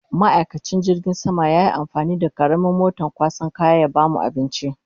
Ma'aikacin jirgin sama yayi amfani da karamin moton kwasan kaya ya bamu abinci